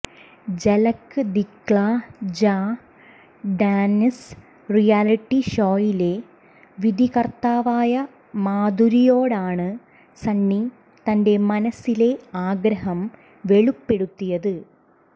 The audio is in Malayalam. ജലക് ദിക്ലാ ജാ ഡാന്സ് റിയാലിറ്റി ഷോയിലെ വിധികര്ത്താവായ മാധുരിയോടാണ് സണ്ണി തന്റെ മനസിലെ ആഗ്രഹം വെളിപ്പെടുത്തിയത്